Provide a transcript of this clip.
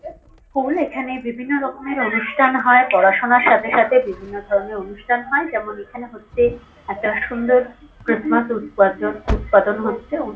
school এখানে বিভিন্ন রকমের অনুষ্ঠান হয় পড়াশুনার সাথে সাথে বিভিন্নধরনের অনুষ্ঠান হয় যেমন- এখানে হচ্ছে একটা সুন্দর খ্রিস্টমাস উৎপাজন উৎপাদন হচ্ছে --